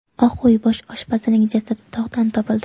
Oq uy bosh oshpazining jasadi tog‘dan topildi.